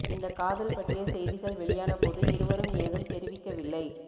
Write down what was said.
இந்த காதல் பற்றிய செய்திகள் வெளியான போது இருவரும் ஏதும் தெரிவிக்கவில்லை